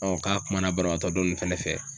k'a kuma na banabaatɔ dɔ nunnu fɛnɛ fɛ